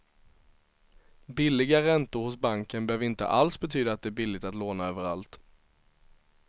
Billiga räntor hos banken behöver inte alls betyda att det är billigt att låna överallt.